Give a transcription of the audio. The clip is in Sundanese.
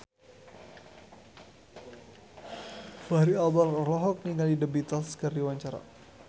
Fachri Albar olohok ningali The Beatles keur diwawancara